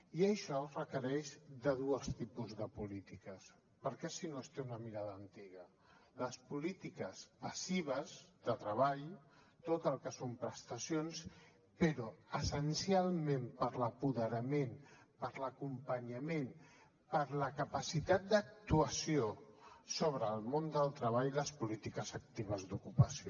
i això requereix dos tipus de polítiques perquè si no es té una mirada antiga les polítiques passives de treball tot el que són prestacions però essencialment per l’apoderament per l’acompanyament per la capacitat d’actuació sobre el món del treball les polítiques actives d’ocupació